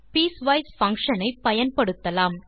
piecewise function ஐ பயன்படுத்தலாம்